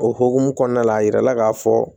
O hokumu kɔnɔna la a yirala k'a fɔ